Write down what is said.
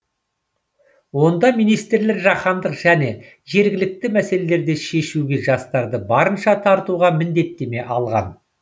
онда министрлер жаһандық және жергілікті мәселелерді шешуге жастарды барынша тартуға міндеттеме алған